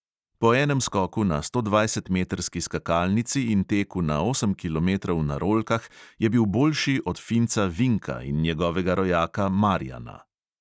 Po enem skoku na stodvajsetmetrski skakalnici in teku na osem kilometrov na rolkah je bil boljši od finca vinka in njegovega rojaka marijana.